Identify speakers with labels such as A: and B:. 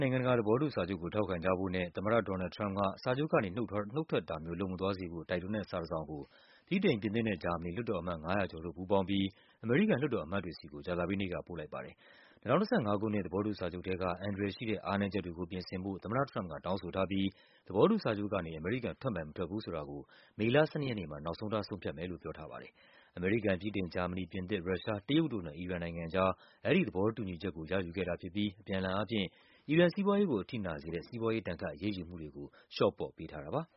A: နိုင်ငံတကာ သဘောတူစာချုပ်ကို ထောက်ခံကြဖို့နဲ့ သမ္မတ ဒေါ်နယ်လ်ဒ် ထရမ့်ပ်က စာချုပ်ကနေ နုတ်ထွက်တာမျိုး လုပ်မသွားစေဖို့ တိုက်တွန်းတဲ့စာတစောင်ကို ဗြိတိန်၊ ပြင်သစ်နဲ့ ဂျာမနီ လွှတ်တော်အမတ် ၅၀၀ ကျော်တို့ ပူးပေါင်းပြီး အမေရိကန်လွှတ်တော်အမတ်တွေဆီကို ကြာသပတေးနေ့က ပို့လိုက်ပါတယ်။ ၂၀၁၅ ခုနှစ် သဘောတူစာချုပ်ထဲက အန္တရာယ်ရှိတဲ့ အားနည်းချက်တွေကို ပြင်ဆင်ဖို့ သမ္မတထရမ့်ပ်က တောင်းဆိုထားပြီး သဘောတူစာချုပ်ကနေ အမေရိကန် ထွက်မယ် မထွက်ဘူးဆိုတာကို မေလ ၁၂ ရက်နေ့မှာ နောက်ဆုံးထား ဆုံးဖြတ်မယ်လို့ ပြောထားပါတယ်။ အမေရိကန်၊ ဗြိတိန်၊ ဂျာမနီ၊ ပြင်သစ်၊ ရုရှား၊ တရုတ်တို့နဲ့ အီရန်နိုင်ငံကြား အဲဒီသဘောတူညီချက်ကို ရယူခဲ့ တာဖြစ်ပြီး အပြန်အလှန်အားဖြင့် အီရန်စီးပွားရေးကို အထိနာစေတဲ့ စီးပွားရေးဒဏ်ခတ်အရေးယူမှုတွေကို လျှော့ပေးထားတာပါ။